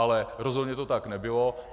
Ale rozhodně to tak nebylo.